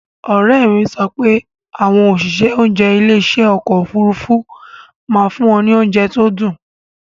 Òrẹ́mi sọ pé àwọn òṣìṣẹ́ oúnjẹ ilé ìṣe ọkọ̀ Òfurufú máa fún wọn ní oúnjẹ tó dùn.